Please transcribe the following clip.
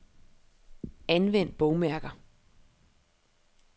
Anvend bogmærker.